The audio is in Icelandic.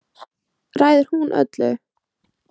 Ræður hún öllu?